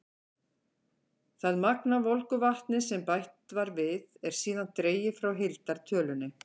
Það magn af volgu vatni sem bætt var við, er síðan dregið frá heildartölunni.